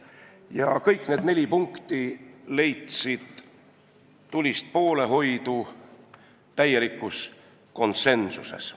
Kõik need neli punkti leidsid tulist poolehoidu täielikus konsensuses.